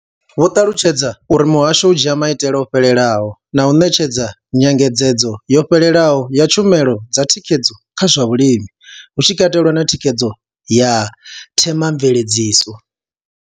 Vho ṱalutshedza uri muhasho u dzhia maitele o fhelelaho na u ṋetshedza nyengedzedzo yo fhelelaho ya tshumelo dza thikhedzo kha zwa vhulimi, hu tshi katelwa na thikhedzo ya themamveledziso.